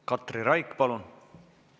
Katri Raik, palun!